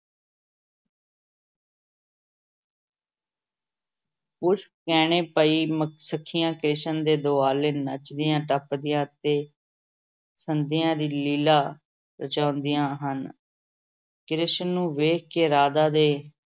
ਪੁਸ਼ਪ ਗਹਿਣੇ ਪਾਈ ਸਖੀਆਂ ਕ੍ਰਿਸ਼ਨ ਦੇ ਦੁਆਲੇ ਨੱਚਦੀਆਂ-ਟੱਪਦੀਆਂ ਅਤੇ ਸੰਧਿਆ ਦੀ ਲੀਲਾ ਰਚਾਉਂਦੀਆਂ ਹਨ ਕ੍ਰਿਸ਼ਨ ਨੂੰ ਵੇਖ ਕੇ ਰਾਧਾ ਦੇ